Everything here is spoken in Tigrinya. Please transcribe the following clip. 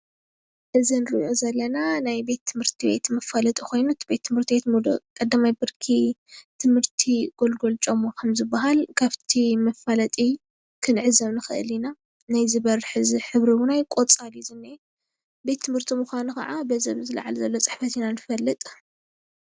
እዚ እንረኦ ዘለና ናይ ቤትት/ቲ መፋለጢ ኮይኑ እቲ ቤት ት\ቲ ሙሉእ ቀዳማይ ብርኪ ቤት ት\ቲ ጎልጎል ጮሞ ከም ዝባሃል ካብቲ መፋለጢ ክንዕዘብ ንክእል ኢና ፡፡ ናይዚ በሪ ሕብሪ እውን ቆፃል እዩ ዝረአ ቤት ት\ቲ ምካኑ ካዓ በዚ አብ ላእሊ ዘሎ ፅሕፈት ኢና ንፈልጦ፡፡